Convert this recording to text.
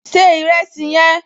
Se ìrẹsì yẹn!